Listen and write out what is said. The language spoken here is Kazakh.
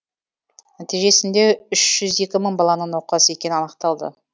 нәтижесінде үш жүз екі мың баланың науқас екені анықталды